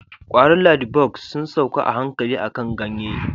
kwaron ladybugs sun sauka a hankali akan ganye